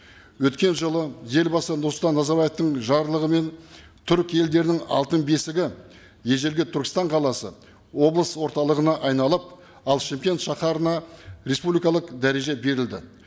өткен жылы елбасы нұрсұлтан назарбаевтың жарлығымен түрік елдерінің алтын бесігі ежелгі түркістан қаласы облыс орталығына айналып ал шымкент шаһарына республикалық дәреже берілді